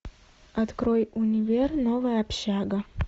открой универ новая общага